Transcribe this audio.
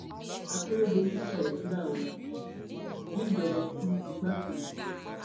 àkèrèdọlù sóréńdà ó gbéjọba fún igbákejì ẹ